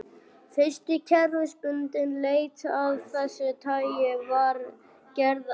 Fyrsta kerfisbundin leit af þessu tagi var gerð á